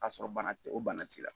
Ka sɔrɔ bana tɛ o bana t'i la.